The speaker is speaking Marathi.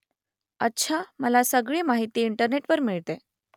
अच्छा मला सगळी माहिती इंटरनेटवर मिळते